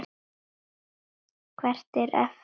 Hvert er efnið?